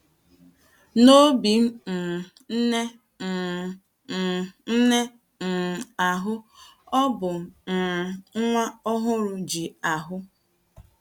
N’obi um nne um um nne um ahụ, o bu um nwa ọhụrụ ji ahụ́.